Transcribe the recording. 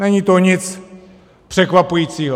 Není to nic překvapujícího.